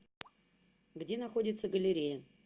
где находится галерея